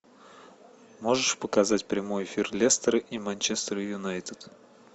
можешь показать прямой эфир лестера и манчестер юнайтед